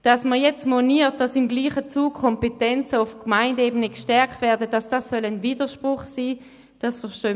Dass man jetzt moniert, es sei ein Widerspruch, wenn im selben Zug Kompetenzen auf Gemeindeebene gestärkt werden, verstehen wir gar nicht.